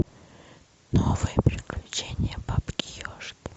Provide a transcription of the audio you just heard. новые приключения бабки ежки